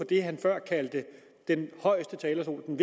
det han før kaldte den højeste talerstol den